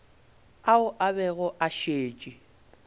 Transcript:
ao a bego a šetše